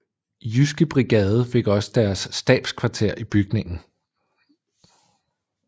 Jyske Brigade fik også deres stabskvarter i bygningen